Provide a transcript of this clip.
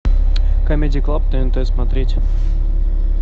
камеди клаб тнт смотреть